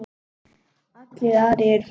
Allir aðrir eru farnir.